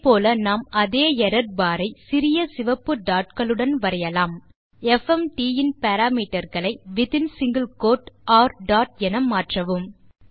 அதே போல நாம் அதே எர்ரர் பார் ஐ சிறிய சிவப்பு dotகளுடன் வரையலாம் எஃப்எம்டி இன் பாராமீட்டர் களை வித் இன் சிங்கில் கோட் ர் டாட் என மாற்றவும்